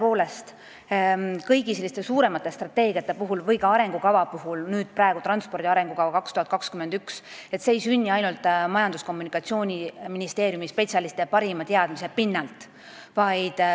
Tõepoolest, sellised suuremad strateegiad või ka arengukavad – näiteks transpordi arengukava 2021–2030 – ei sünni ainult Majandus- ja Kommunikatsiooniministeeriumi spetsialistide parima teadmise pinnalt.